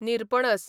निरपणस